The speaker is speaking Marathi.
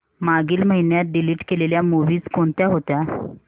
मागील महिन्यात डिलीट केलेल्या मूवीझ कोणत्या होत्या